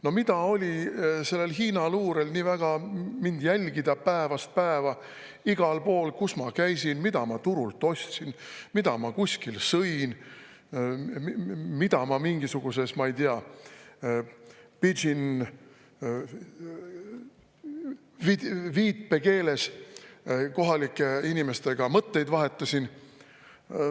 No mida oli Hiina luurel nii väga mind jälgida päevast päeva igal pool – kus ma käisin, mida ma turult ostsin, mida ma kuskil sõin, kuidas ma mingisuguses pidžin‑viipekeeles kohalike inimestega mõtteid vahetasin?